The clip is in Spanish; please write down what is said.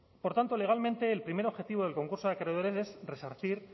por tanto legalmente el primer objetivo del concurso de acreedores es resarcir